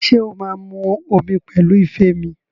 Ṣé o máa mu omi pẹ̀lú ife mi?